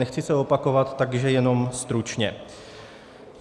Nechci se opakovat, takže jenom stručně.